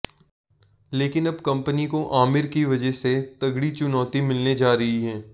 लेकिन अब कंपनी को आमिर की वजह से तगड़ी चुनौती मिलने जा रही है